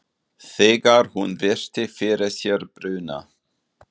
Þegar hún virti fyrir sér bruna